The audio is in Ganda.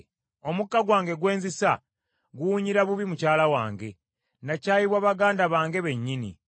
Omukka gwange gwe nzisa, guwunyira bubi mukyala wange; nakyayibwa baganda bange bennyini.